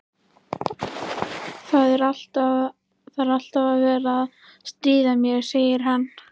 Það er alltaf verið að stríða mér, segir hann.